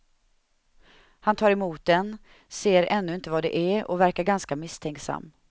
Han tar emot den, ser ännu inte vad det är, och verkar ganska misstänksam.